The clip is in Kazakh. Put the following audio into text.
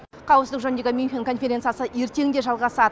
қауіпсіздік жөніндегі мюнхен конференциясы ертең де жалғасады